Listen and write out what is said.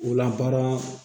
O la baara